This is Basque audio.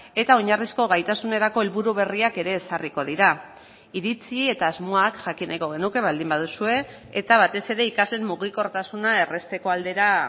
eta oinarrizko gaitasunerako helburu berriak ere ezarriko dira iritzi eta asmoak jakin nahiko genuke baldin baduzue eta batez ere ikasleen mugikortasuna errazteko aldera